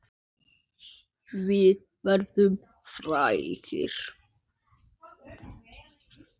Við verðum frægir.